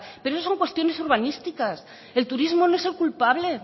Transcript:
pero eso son cuestiones urbanísticas el turismo no es el culpable